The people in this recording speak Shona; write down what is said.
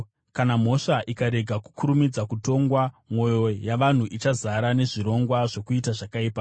Kana mhosva ikarega kukurumidza kutongwa, mwoyo yavanhu ichazara nezvirongwa zvokuita zvakaipa.